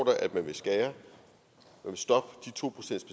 at man vil stoppe de to procents